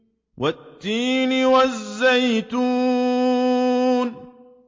وَالتِّينِ وَالزَّيْتُونِ